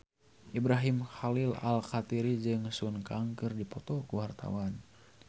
Ibrahim Khalil Alkatiri jeung Sun Kang keur dipoto ku wartawan